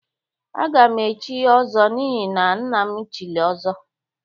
Agam echi ọzọ n'ihi na nnam chili ọzọ.